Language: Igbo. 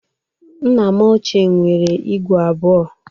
Nna m ochie nwere igwe abụọ.